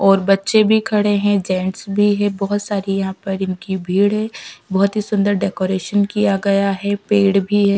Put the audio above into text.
और बच्चे भी खड़े हैं जेंट्स भी हैं बहुत सारी यहाँ पर इनकी भीड़ है बहुत ही सुंदर डेकोरेशन किया गया है पेड़ भी है।